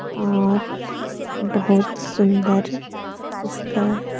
और बहुत सुंदर इसका --